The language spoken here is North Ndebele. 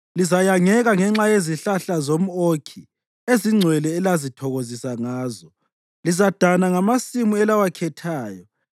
“Lizayangeka ngenxa yezihlahla zomʼokhi ezingcwele elazithokozisa ngazo. Lizadana ngamasimu elawakhethayo.